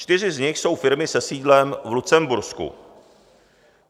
Čtyři z nich jsou firmy se sídlem v Lucembursku.